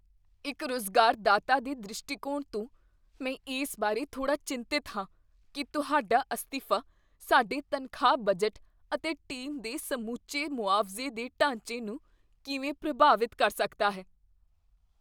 ਇੱਕ ਰੁਜ਼ਗਾਰਦਾਤਾ ਦੇ ਦ੍ਰਿਸ਼ਟੀਕੋਣ ਤੋਂ, ਮੈਂ ਇਸ ਬਾਰੇ ਥੋੜ੍ਹਾ ਚਿੰਤਤ ਹਾਂ ਕੀ ਤੁਹਾਡਾ ਅਸਤੀਫਾ ਸਾਡੇ ਤਨਖਾਹ ਬਜਟ ਅਤੇ ਟੀਮ ਦੇ ਸਮੁੱਚੇ ਮੁਆਵਜ਼ੇ ਦੇ ਢਾਂਚੇ ਨੂੰ ਕਿਵੇਂ ਪ੍ਰਭਾਵਤ ਕਰ ਸਕਦਾ ਹੈ।